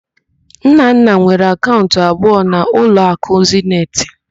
Nnanna nwere akaụnt abụọ na ụlọakụ Zeniti.